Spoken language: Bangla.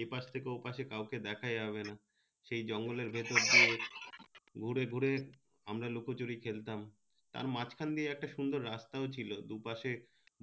এ পাশ থেকে ও পাশ কাউকে দেখা যাবে না সেই জঙ্গলের ভিতর দিয়ে ঘুরে ঘুরে আমরা লুকোচুরি খেলতাম তার মাঝখান দিয়ে একটা সুন্দর রাস্তাও ছিলো দুপাশে